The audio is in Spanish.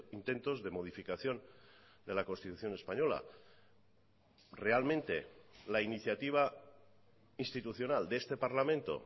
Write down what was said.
intentos de modificación de la constitución española realmente la iniciativa institucional de este parlamento